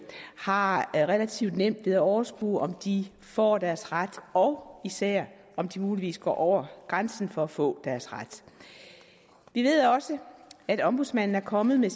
har relativt nemt ved at overskue om de får deres ret og især om de muligvis går over grænsen for at få deres ret vi ved også at ombudsmanden er kommet med